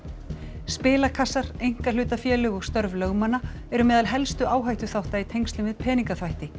spilakassar einkahlutafélög og störf lögmanna eru meðal helstu áhættuþátta í tengslum við peningaþvætti